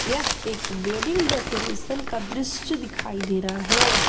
यह एक wedding decoration का दृश्य दिखाई दे रहा है।